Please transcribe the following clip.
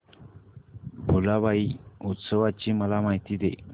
भुलाबाई उत्सवाची मला माहिती दे